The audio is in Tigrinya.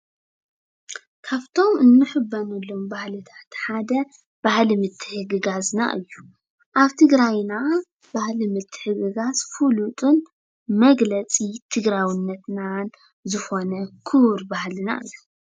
ካብቶም እንሕበነሎም ሓደ ባህሊ ምትሕግጋዝና እዩ፡፡ ኣብ ትግራይና ባህሊ ምትሕግጋዝ ፍሉጥን መግለፂ ትግራውነትናን ዝኾነ ክቡር ባህልና እዩ፡፡